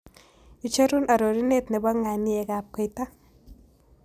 Icheru arorunet ne po ng'aniekab koita